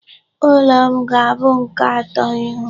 Ụlọ m ga-abụ nke atọ ịhụ.